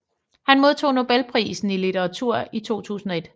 Han modtog nobelprisen i litteratur i 2001